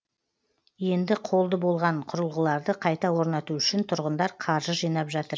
енді қолды болған құрылғыларды қайта орнату үшін тұрғындар қаржы жинап жатыр